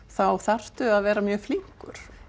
þá þarftu að vera mjög flinkur